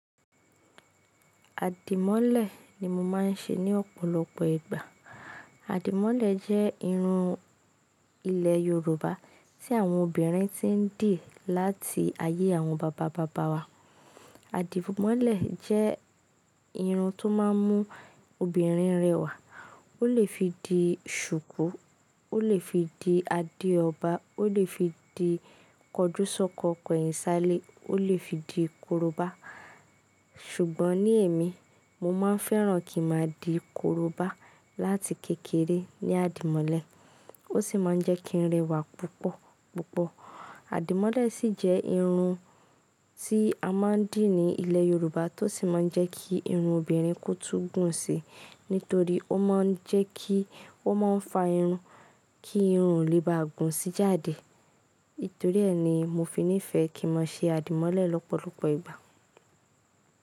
Àdìmọ́lẹ̀ ni mo máa ń ṣe ní ọ̀pọ̀lọpọ̀ ìgbà. Àdìmọ́lẹ̀ jẹ́ irun ilẹ̀ Yorùbá tí àwọn obìnrin ti ń dì láti ayé àwọn bàbá bàbá wa. Àdìmọ́lẹ̀ jẹ́ irun tó máa ń mú obìnrin rẹwà. Ó lè fi di ṣùkú, ó lè fi di Adéọba, ó lè fi di Kọjúsọ́kọ Koyinsale, ó lè fi di Korobá. Ṣùgbọ́n ní èmi, mo máa ń fẹ́ràn kí n máa di Korobá láti kékeré ní àdìmọ́lẹ̀. Ó sì máa ń jẹ́ kí ń rẹwà púpọ̀ púpọ̀. Àdìmọ́lẹ̀ sì jẹ́ irun tí a máa ń dì ní ilẹ̀ Yorùbá tó sì máa ń jẹ́ kí irun obìnrin kó tú gùn si. Nítorí ó máa ń jẹ́ kí ó máa ń fa irun kí irun lè bá gùn sí jáde. Nítorí ẹ ni mo fi nífẹ̀ẹ́ kí n máa ṣe àdìmọ́lẹ̀ lọ́pọ̀lọpọ̀ ìgbà.